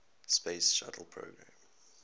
space shuttle program